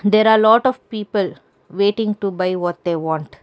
there are lot of people waiting to buy what they want.